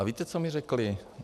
A víte, co mi řekli?